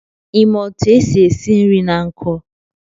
I ma otu esi esi nri na nkụ?